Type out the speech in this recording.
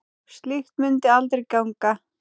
Slíkt mundi aldrei ganga.